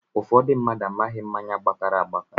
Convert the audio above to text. Ụfọdụ mmadụ amaghị mmáñyá gbakara agbaka